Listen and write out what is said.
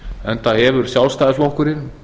enda hefur sjálfstæðisflokkurinn